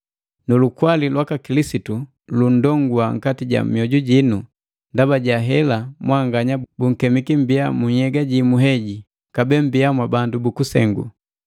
Nu lukwali lwaka Kilisitu lundongua nkati ja mioju jinu, ndaba ja hela mwanganya bunkemiki mmbiya mu nhyega jumu heji. Kabee mmbiya mwa bandu bu kusengu!